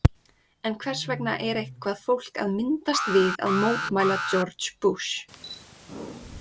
En hvers vegna er eitthvað fólk að myndast við að mótmæla George Bush?